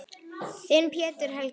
Þinn, Pétur Helgi.